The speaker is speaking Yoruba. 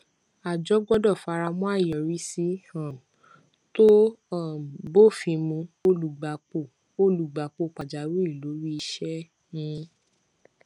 àjọ gbọdọ faramọ àyọrísí um tó um bófin mu olùgbapò olùgbapò pàjáwìrì lórí iṣẹ um